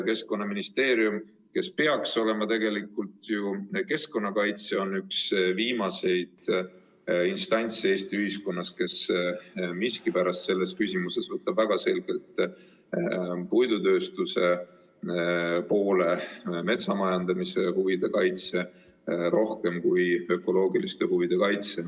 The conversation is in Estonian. Keskkonnaministeerium, kes peaks olema tegelikult ju keskkonnakaitsja, on üks viimaseid instantse Eesti ühiskonnas, kes miskipärast selles küsimuses võtab väga selgelt puidutööstuse, metsamajandamise huvide kaitse, rohkem kui ökoloogiliste huvide kaitse poole.